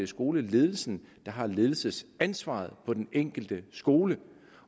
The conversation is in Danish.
skoleledelsen der har ledelsesansvaret på den enkelte skole